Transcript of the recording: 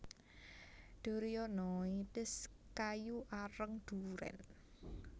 durionoides kayu areng durèn